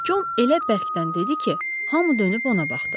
Con elə bərkdən dedi ki, hamı dönüb ona baxdı.